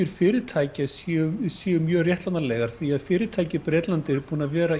fyrirtækja séu séu mjög réttlætanlegar því fyrirtæki í Bretlandi eru búin að vera